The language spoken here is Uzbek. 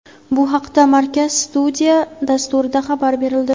Bu haqda "Markaz studiya" dasturida xabar berildi.